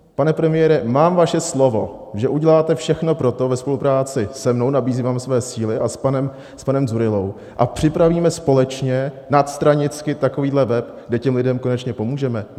Pane premiére, mám vaše slovo, že uděláte všechno pro to ve spolupráci se mnou, nabízím vám své síly, a s panem Dzurillou a připravíme společně nadstranicky takovýhle web, kde těm lidem konečně pomůžeme?